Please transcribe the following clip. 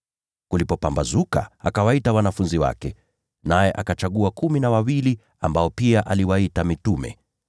Kulipopambazuka, akawaita wanafunzi wake, naye akachagua kumi na wawili, ambao pia aliwaita mitume: